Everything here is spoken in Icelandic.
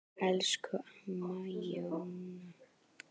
Elsku amma Jóna.